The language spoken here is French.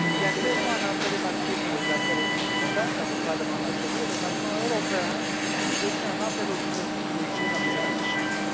Il y a clairement un intérêt marqué pour les affaires européennes dans nos parlements nationaux et le Parlement européen est devenu un interlocuteur privilégié dans ces échanges.